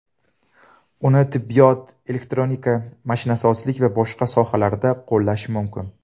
Uni tibbiyot, elektronika, mashinasozlik va boshqa sohalarda qo‘llash mumkin”.